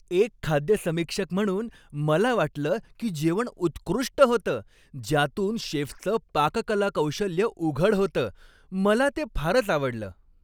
एक खाद्य समीक्षक म्हणून, मला वाटलं की जेवण उत्कृष्ट होतं, ज्यातून शेफचं पाककला कौशल्य उघड होतं. मला ते फारच आवडलं.